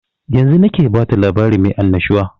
Yanzun nake bata labari mai annashuwa